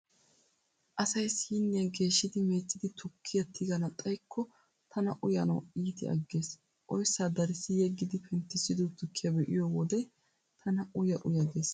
Asay siiniyaa geeshshidi meeccidi tukkiyaa tigana xaykko tana uyanawu iiti aggees. Oyssaa darissi yeggidi penttissiddo tukkiyaa be'iyo wode tana uya uya gees.